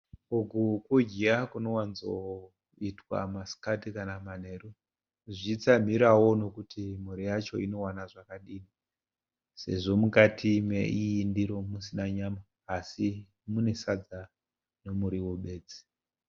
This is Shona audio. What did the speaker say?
Uku kudya kunowanzoitwa masikati kana manheru zvichitsamhirawo nekuti mhuri yacho inowana zvakadii, sezvo mukati meiyi ndiro musina nyama asi mune sadza nemuriwo bedzi.